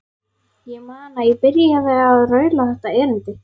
Ég man að ég byrjaði á að raula þetta erindi: